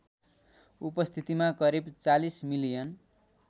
उपस्थितिमा करिब ४० मिलियन